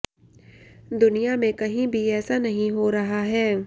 दुनिया में कहीं भी ऐसा नहीं हो रहा है